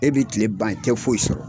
E bi tile ban i tɛ foyi sɔrɔ.